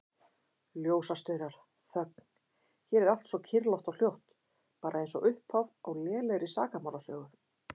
Ljósastaurar, þögn, hér er allt svo kyrrlátt og hljótt, bara einsog upphaf á lélegri sakamálasögu.